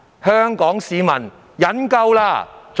香港市民忍夠了！